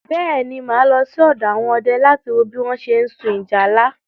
Bẹ́ẹ̀ ni, mà á lọ sí ọ̀dọ̀ àwọn ọdẹ láti wo bí wọ́n ṣe ń sun ìjálá.